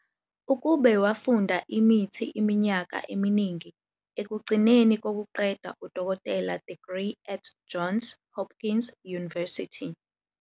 Kibbe wafunda imithi iminyaka eminingi, ekugcineni kokuqeda udokotela degree at -Johns Hopkins University.